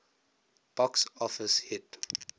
box office hit